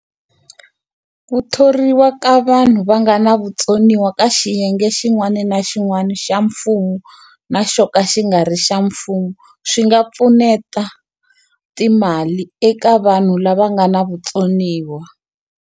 Ku thoriwa ka vanhu va nga na vutsoniwa ka xiyenge xin'wani na xin'wani xa mfumo na xo ka xi nga ri xa mfumo swi nga pfuneta timali eka vanhu lava nga na vutsoniwa.